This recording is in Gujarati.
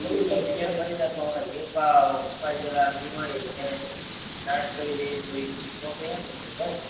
ઈયર મારી જાય તો હોય નાશ કરી દેવી જોઈએ ન તમે કહો છો ન તમે